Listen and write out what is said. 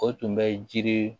O tun bɛ jiri